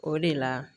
O de la